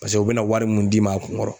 Pase u bɛ na wari mun d'i ma a kun ŋɔrɔ